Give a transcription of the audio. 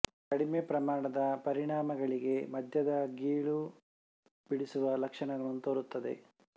ಕಡಿಮೆ ಪ್ರಮಾಣದ ಪರಿಣಾಮಗಳಿಗೆ ಮದ್ಯದ ಗೀಳು ಬಿಡುಸುವ ಲಕ್ಷಣಗಳನ್ನು ತೋರುತ್ತದೆ